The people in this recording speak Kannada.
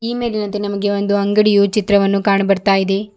ಈ ಮೇಲಿನಂತೆ ನಮಗೆ ಒಂದು ಅಂಗಡಿಯು ಚಿತ್ರವನ್ನು ಕಾಣು ಬರ್ತಾ ಇದೆ.